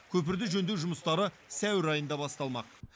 көпірді жөндеу жұмыстары сәуір айында басталмақ